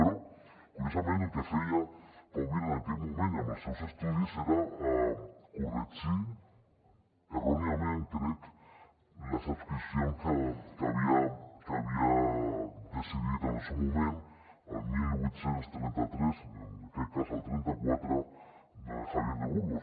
però curiosament el que feia pau vila en aquell moment i amb els seus estudis era corregir erròniament crec les adscripcions que havia decidit en el seu moment el divuit trenta tres en aquest cas el trenta quatre javier de burgos